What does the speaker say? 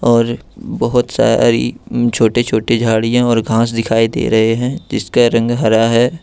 और बहुत सारी छोटी छोटी झाड़ियां और घास दिखाई दे रहे हैं जिसकी रंग हरा है।